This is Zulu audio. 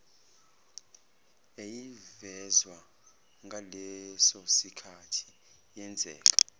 yayivezwa ngalesosikhathi yenzeka